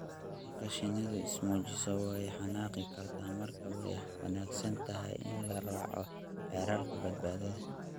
Marka shinnidu is muujiso, way xanaaqi kartaa; marka way wanaagsan tahay in la raaco xeerarka badbaadada.